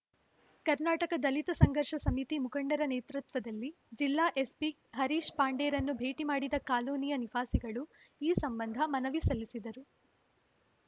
ಕರ್ನಾಟಕ ದಲಿತ ಸಂಘರ್ಷ ಸಮಿತಿ ಮುಖಂಡರ ನೇತೃತ್ವದಲ್ಲಿ ಜಿಲ್ಲಾ ಎಸ್ಪಿ ಹರೀಶ್‌ ಪಾಂಡೆರನ್ನು ಭೇಟಿ ಮಾಡಿದ ಕಾಲೋನಿಯ ನಿವಾಸಿಗಳು ಈ ಸಂಬಂಧ ಮನವಿ ಸಲ್ಲಿಸಿದರು